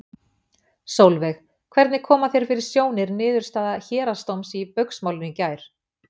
Sólveig: Hvernig koma þér fyrir sjónir niðurstaða héraðsdóms í Baugsmálinu í gær?